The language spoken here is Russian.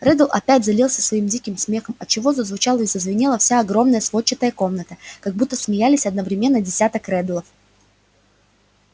реддл опять залился своим диким смехом отчего зазвучала и зазвенела вся огромная сводчатая комната как будто смеялись одновременно десяток реддлов